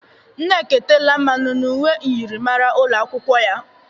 Nneka etela mmanụ n'uwe myịrịmara ụlọ akwụkwọ ya